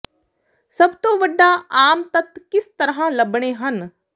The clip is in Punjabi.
ਸਭ ਤੋਂ ਵੱਡਾ ਆਮ ਤੱਤ ਕਿਸ ਤਰ੍ਹਾਂ ਲੱਭਣੇ ਹਨ